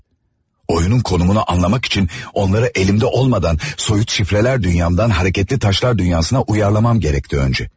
Oyunun konumunu anlamaq üçün onları elimdə olmadan soyut şifrələr dünyamdan hərəkətli daşlar dünyasına uyarlamam gərəkti öncə.